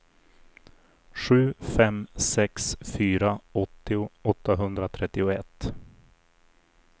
sju fem sex fyra åttio åttahundratrettioett